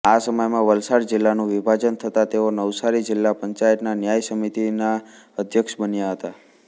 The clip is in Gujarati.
આ સમયમાં વલસાડ જિલ્લાનું વિભાજન થતાં તેઓ નવસારી જિલ્લા પંચાયતના ન્યાય સમિતિના અધ્યક્ષ બન્યા હતા